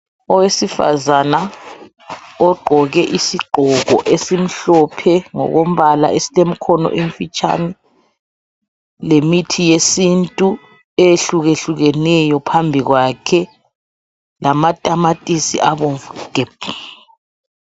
Owesifazana ogqoke isigqoko esimhlophe ngokombala esilemikhono emfitshane lemithi yesiNtu eyehlukehlukeneyo phambi kwakhe lamatamatisi abomvu gebhu.